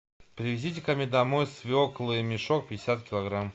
привезите ко мне домой свеклы мешок пятьдесят килограмм